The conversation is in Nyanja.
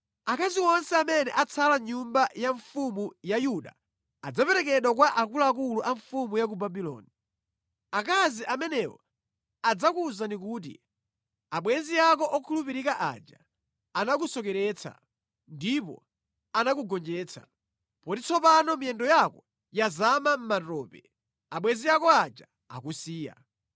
Akazi onse amene atsala mʼnyumba ya mfumu ya Yuda adzaperekedwa kwa akuluakulu a mfumu ya ku Babuloni. Akazi amenewo adzakuwuzani kuti, “ ‘Abwenzi ako okhulupirika aja anakusokeretsa, ndipo anakugonjetsa. Poti tsopano miyendo yako yazama mʼmatope; abwenzi ako aja akusiya.’